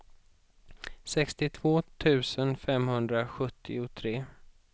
sextiotvå tusen femhundrasjuttiotre